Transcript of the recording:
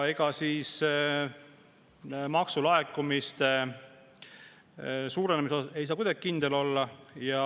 Ega maksulaekumiste suurenemises ei saa kuidagi kindel olla.